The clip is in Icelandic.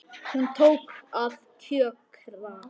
Hún tók að kjökra.